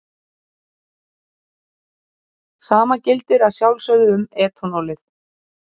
Sama gildir að sjálfsögðu um etanólið.